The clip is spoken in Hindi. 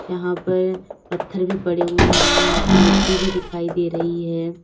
यहां पर पत्थर भी पड़े हुए हैं यहां पे मिट्टी भी दिखाई दे रही है।